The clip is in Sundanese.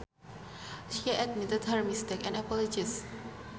She admitted her mistake and apologized